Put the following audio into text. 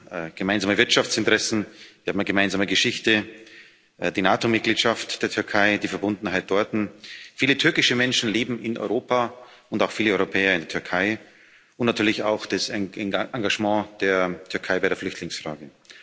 Wir haben gemeinsame Wirtschaftsinteressen, wir haben eine gemeinsame Geschichte, die NATO Mitgliedschaft der Türkei, die Verbundenheit dorten, viele türkische Menschen leben in Europa und auch viele Europäer in der Türkei und natürlich auch das Engagement der Türkei bei der Flüchtlingsfrage.